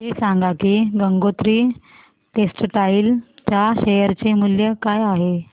हे सांगा की गंगोत्री टेक्स्टाइल च्या शेअर चे मूल्य काय आहे